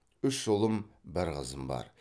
үш ұлым бір қызым бар